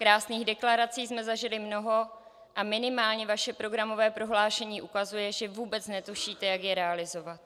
Krásných deklarací jsme zažili mnoho a minimálně vaše programové prohlášení ukazuje, že vůbec netušíte, jak je realizovat.